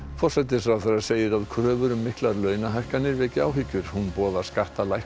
forsætisráðherra segir að kröfur um miklar launahækkanir veki áhyggjur hún boðar skattalækkun